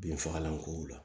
Binfagalan kow la